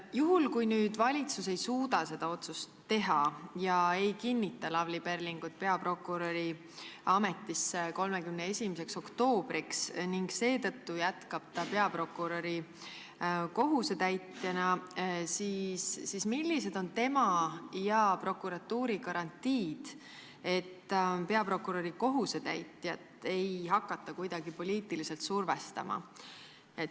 Juhul kui valitsus ei suuda seda otsust 31. oktoobriks teha ja jätab Lavly Perlingu peaprokuröri ametisse kinnitamata ning ta seetõttu jätkab peaprokuröri kohusetäitjana, siis millised on tema ja prokuratuuri garantiid, et peaprokuröri kohusetäitjat ei hakata kuidagi poliitiliselt survestama?